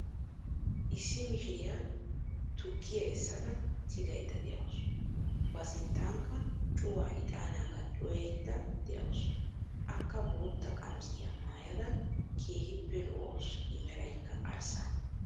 Issi mishiriyaa tukkiyaa essada tigaaydda de'awus. ba sinttanikka cuuwaa ixanaagaa cuwayayda de'awus. akka bootta qamisiyaa maayada keehippe lo"awus i meraykka arssa.